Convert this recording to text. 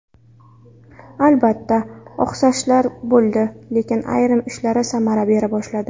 Albatta, oqsashlar bo‘ldi, lekin ayrim ishlari samara bera boshladi.